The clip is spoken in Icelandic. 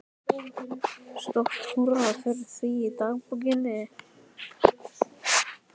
Stórt húrra fyrir því í dagbókinni.